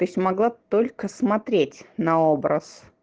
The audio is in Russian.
то есть могла только смотреть на образ